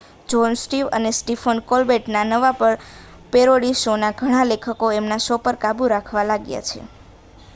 John Stewart અને Stephen Colbert ના નવા પેરોડી શો ના ઘણા લેખકો એમના શો પર કાબૂ રાખવા લાગ્યા છે